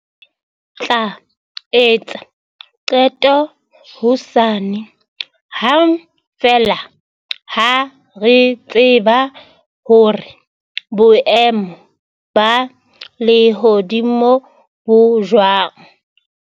Re tla etsa qeto hosane hang feela ha re tseba hore boemo ba lehodimo bo jwang.